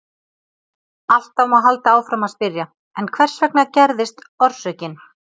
Alltaf má halda áfram að spyrja: En hvers vegna gerðist orsökin?